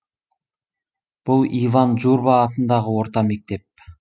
бұл иван журба атындағы орта мектеп